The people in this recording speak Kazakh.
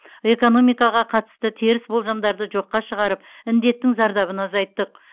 экономикаға қатысты теріс болжамдарды жоққа шығарып індеттің зардабын азайттық